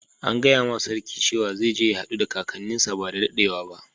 An gaya ma sarki cewa zai je ya haddu da kakanin sa badda daddewa ba.